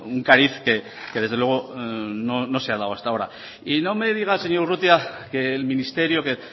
un cariz que desde luego no se ha dado hasta ahora y no me diga señor urrutia que el ministerio que